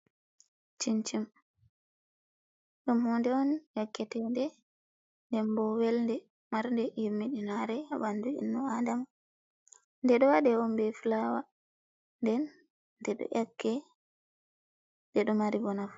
Cincim ɗum hunde on nyakketede. nden bo welɗe marde yemmidinare ha banɗu ennu adama. Beɗo waɗe on be fulawa den nɗeɗo yakke ndedo mari bo nafu.